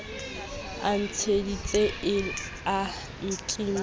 e ntsieditse e a nkimela